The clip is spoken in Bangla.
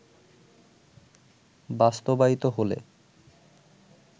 বাস্তবায়িত হলে